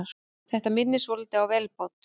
Þetta minnir svolítið á vélbát.